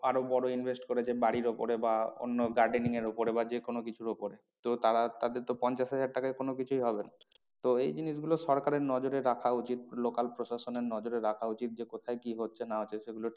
আরো বড়ো invest করেছে বাড়ির ওপরে বা অন্য gardening এর ওপরে বা যে কোনো কিছুর ওপরে তো তারা তাদের তো পঞ্চাশ হাজার টাকায় কোনো কিছুই হবে না। তো এই জিনিস গুলো সরকারের নজরে রাখা উচিত local প্রশাসনের নজরে রাখা উচিত যে কোথায় কি হচ্ছে না হচ্ছে সেগুলো